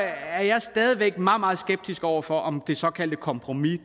er jeg stadig væk meget meget skeptisk over for om det såkaldte kompromis